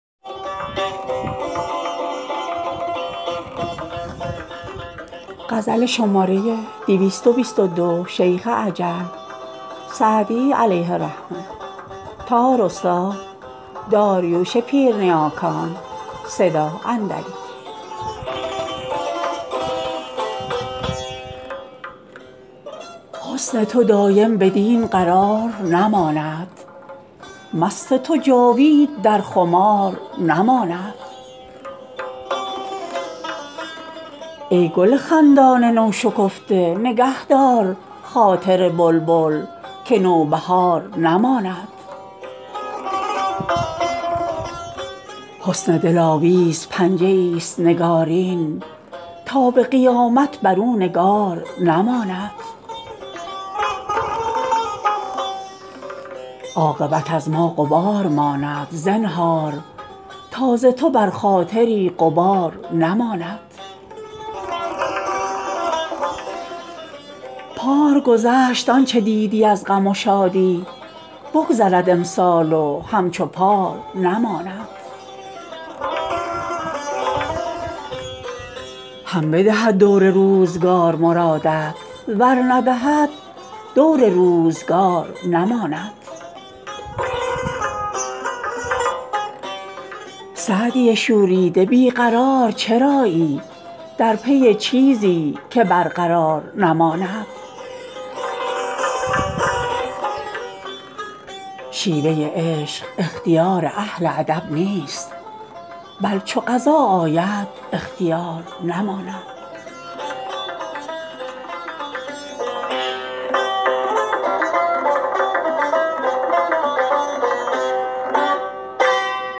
حسن تو دایم بدین قرار نماند مست تو جاوید در خمار نماند ای گل خندان نوشکفته نگه دار خاطر بلبل که نوبهار نماند حسن دلاویز پنجه ایست نگارین تا به قیامت بر او نگار نماند عاقبت از ما غبار ماند زنهار تا ز تو بر خاطری غبار نماند پار گذشت آن چه دیدی از غم و شادی بگذرد امسال و همچو پار نماند هم بدهد دور روزگار مرادت ور ندهد دور روزگار نماند سعدی شوریده بی قرار چرایی در پی چیزی که برقرار نماند شیوه عشق اختیار اهل ادب نیست بل چو قضا آید اختیار نماند